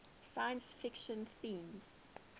science fiction themes